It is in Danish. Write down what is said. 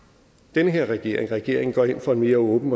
denne regering regering går ind for en mere åben